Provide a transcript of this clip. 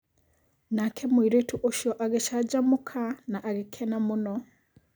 nake mũirĩtu ũcio agĩcanjamũka na agĩkena mũno.